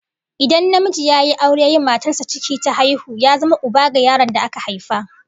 Idan namiji ya yi aure yayi wa matarsa ciki ta haihu, ya zama uba ga yaron da aka haifa